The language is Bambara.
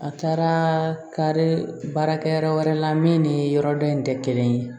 A taara kare baara kɛ yɔrɔ wɛrɛ la min ni yɔrɔ dɔ in tɛ kelen ye